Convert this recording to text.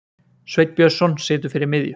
Sveinn Björnsson situr fyrir miðju.